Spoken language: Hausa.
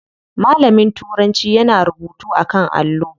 Malamin turanci yana rubutu a kan allo.